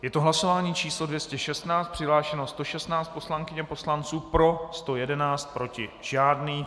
Je to hlasování číslo 216, přihlášeno 116 poslankyň a poslanců, pro 111, proti žádný.